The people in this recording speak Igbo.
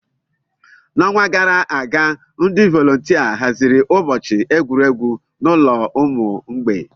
N'ọnwa gara aga, ndị volontia haziri ụbọchị egwuregwu n'ụlọ ụmụ mgbei.